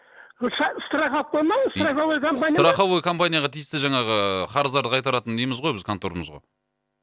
страховка ма страховой компания ма страховой компанияға тиісті жаңағы қарыздарды қайтаратын неміз ғой біз контормыз ғой